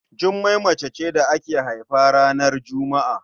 Jummai mace ce da aka haife ta ranar Juma'a.